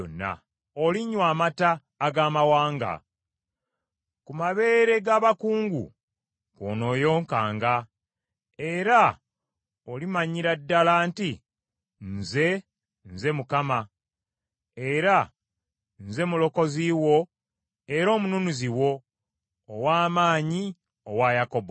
Olinywa amata ag’amawanga. Ku mabeere ga bakungu kw’onooyonkanga, era olimanyira ddala nti, Nze, nze Mukama , nze Mulokozi wo era Omununuzi wo, ow’Amaanyi owa Yakobo.